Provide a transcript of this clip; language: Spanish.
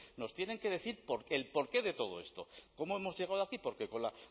nos tienen que decir el porqué de todo esto cómo hemos llegado aquí porque con la